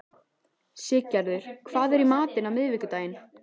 Siggerður, hvað er í matinn á miðvikudaginn?